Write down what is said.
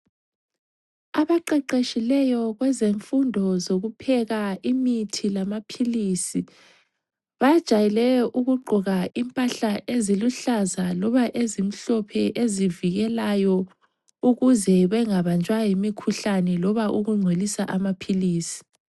Abaqeqeshileyo kwezemfundo zokupheka imithi lamaphilisi, bajayele ukugqoka impahla eziluhlaza loba ezimhlophe ezivikelayo ukuze bengabanjwa yimikhuhlane loba ukungcolisa amaphilizi.